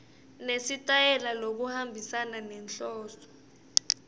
nesitayela lokuhambisana nenhloso